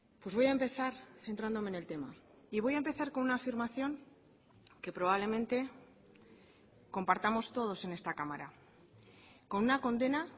pues voy a empezar centrándome en el tema y voy a empezar con una afirmación que probablemente compartamos todos en esta cámara con una condena